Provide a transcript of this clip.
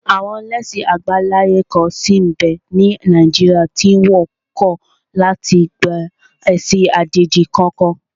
Àwọn ẹlẹ́sìn àbáláyé kan sí n bẹ́ ní Nàìjíríà tí wọ́n kọ̀ láti gba ẹ̀sìn àjèjì kankan